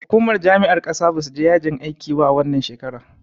Hukumar jami'ar ƙasa basu je yajin aikiba a wannan shekara.